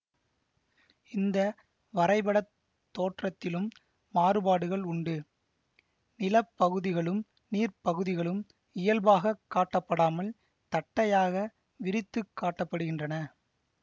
இந்த வரைபடத் தோற்றத்திலும் மாறுபாடுகள் உண்டு நிலப்பகுதிகளும் நீர்ப்பகுதிகளும் இயல்பாக காட்டப்படாமல் தட்டையாக விரித்துக் காட்ட படுகின்றன